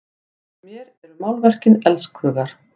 Fyrir mér eru málverkin elskhugar!